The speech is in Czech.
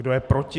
Kdo je proti?